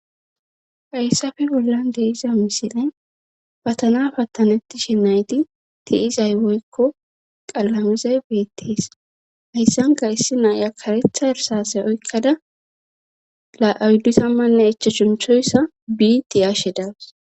fayssafe bollan deeiza misile patana pattanetti shenayti tiizay woykko qalamizay beettees hayssanka issi naaya karetha irsase oykkada la7awuddusammanne echa shunchoyssa biiti ashe das